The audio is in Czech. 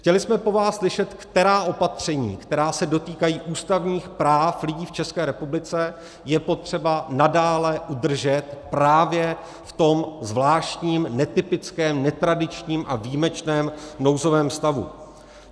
Chtěli jsme po vás slyšet, která opatření, která se dotýkají ústavních práv lidí v České republice, je potřeba nadále udržet právě v tom zvláštním, netypickém, netradičním a výjimečném nouzovém stavu.